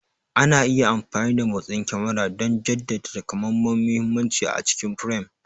Ana iya amfani da motsin kyamarar don jaddada takamaiman muhimmanci abu a cikin firam.